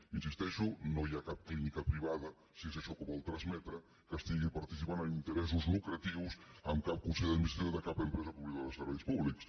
hi insisteixo no hi ha cap clínica privada si és això el que vol transmetre que estigui participant amb interessos lucratius en cap consell d’administració de cap empresa pública o de serveis públics